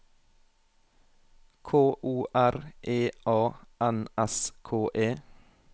K O R E A N S K E